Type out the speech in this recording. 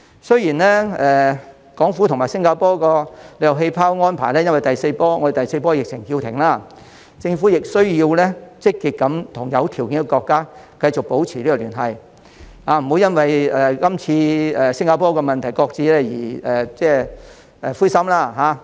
雖然港府和新加坡的旅遊氣泡安排因為我們的第四波疫情而叫停，政府仍需要積極和有條件的國家繼續保持聯繫，不要因為這次與新加坡的安排擱置而感到灰心。